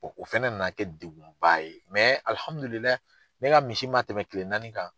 O o fɛnɛ na na kɛ degun ba ye ne ka misi man tɛmɛ kile naani kan.